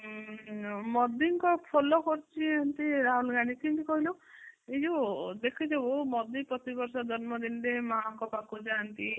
ମୋଦୀଙ୍କୁ follow କରୁଛନ୍ତି ରାହୁଲ ଗାନ୍ଧୀ କେମିତି କହିଲୁ ଏଇ ଯୋଉ ଦେଖିଛୁ ପ୍ରତି ବର୍ଷ ଜନ୍ମଦିନରେ ମାଆ ଙ୍କ ପାଖକୁ ଯାନ୍ତି